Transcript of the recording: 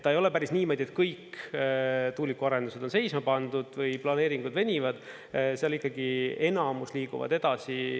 Ta ei ole päris niimoodi, et kõik tuulikuarendused on seisma pandud või planeeringud venivad, seal ikkagi enamus liiguvad edasi.